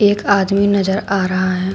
एक आदमी नजर आ रहा है।